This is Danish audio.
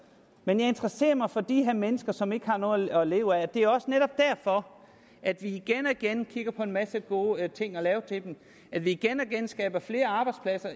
men jeg interesserer mig for de her mennesker som ikke har noget at leve af det er også netop derfor at vi igen og igen kigger på en masse gode ting at lave til dem at vi igen og igen skaber flere arbejdspladser